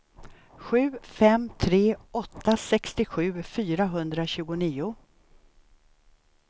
sju fem tre åtta sextiosju fyrahundratjugonio